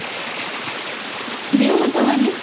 ଦ୍ଵି ମତ ମାନେ